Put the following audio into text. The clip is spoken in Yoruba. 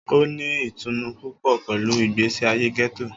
O ni itunu pupọ pẹlu igbesi aye getto.